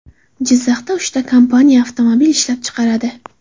Jizzaxda uchta kompaniya avtomobil ishlab chiqaradi.